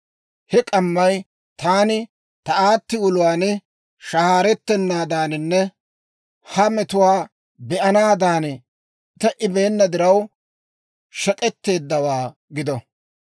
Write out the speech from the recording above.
He k'ammay taani ta aatti uluwaan shahaarettennaadaaninne ha metuwaa be'ennaadan te"ibeenna diraw, shek'k'etteeddawaa gido.